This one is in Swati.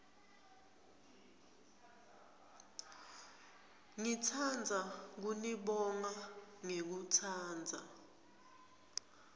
ngitsandza kunibonga ngekutsatsa